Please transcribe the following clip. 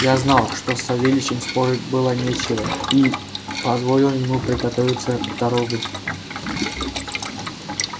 я знал что с савельичем спорить было нечего и позволил ему приготовиться в дорогу